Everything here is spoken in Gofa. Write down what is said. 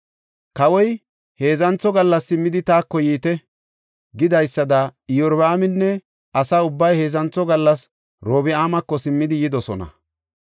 Kawoy, “Heedzantho gallas simmidi taako yiite” gidaysada Iyorbaaminne asa ubbay heedzantho gallas Orobi7aamako simmidi yidosona.